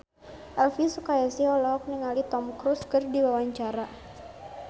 Elvy Sukaesih olohok ningali Tom Cruise keur diwawancara